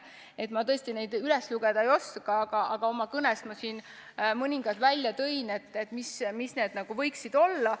Ma tõesti neid üles lugeda ei oska, aga oma kõnes ma siin mõningad välja tõin, mis need võiksid olla.